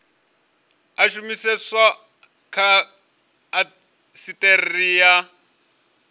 a shumiseswa kha indasiteri ya